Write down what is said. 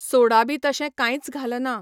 सोडा बी तशें कांयच घालना.